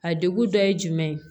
A degun dɔ ye jumɛn ye